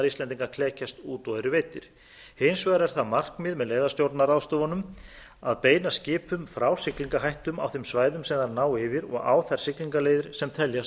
íslendinga klekjast út og eru veiddir hins vegar er það markmið með leiðastjórnunarráðstöfununum að beina skipum frá siglingahættum á þeim svæðum sem þær ná yfir og á þær siglingaleiðir sem teljast